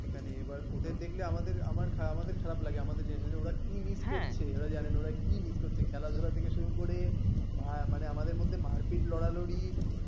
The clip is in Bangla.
এখানে এবার ওদের দেখলে আমাদের আমার আমাদের খারাপ লাগে আমাদের generation এ ওরা কি miss করছে ওরা জানেনা ওরা কি miss করছে খেলাধুলা থেকে শুরু করে মানে আমাদের মধ্যে মারপিট লড়ালড়ি